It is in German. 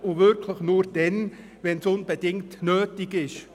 Dies soll nur dann geschehen, wenn es unbedingt nötig ist.